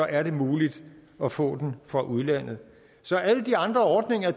er det muligt at få den fra udlandet så alle de andre ordninger